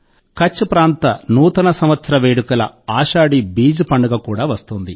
కచ్ ప్రాంత నూతన సంవత్సర వేడుకల ఆషాఢీ బీజ్ పండుగ కూడా వస్తోంది